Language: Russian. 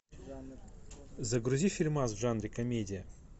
загрузи фильмас в жанре комедия